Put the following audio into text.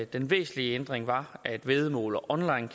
den væsentlige ændring var at væddemål og